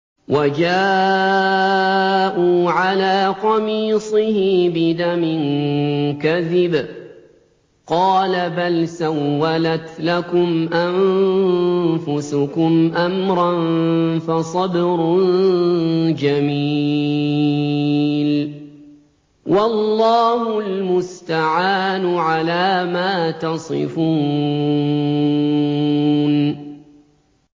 وَجَاءُوا عَلَىٰ قَمِيصِهِ بِدَمٍ كَذِبٍ ۚ قَالَ بَلْ سَوَّلَتْ لَكُمْ أَنفُسُكُمْ أَمْرًا ۖ فَصَبْرٌ جَمِيلٌ ۖ وَاللَّهُ الْمُسْتَعَانُ عَلَىٰ مَا تَصِفُونَ